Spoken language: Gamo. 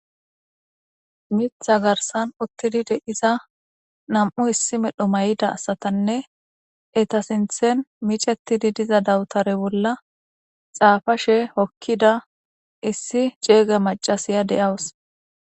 Mitha garsan uttidi de iza nam'u issi medho may'ida asatanne eta sinthen micettididiza dawutare bolla xaafashe hokkida issi ceega macasiya de'awus